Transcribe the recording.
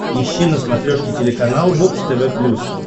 ищи на смотрешке телеканал бокс тв плюс